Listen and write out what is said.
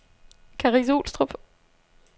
Karise-Olstrup